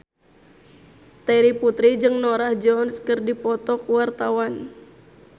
Terry Putri jeung Norah Jones keur dipoto ku wartawan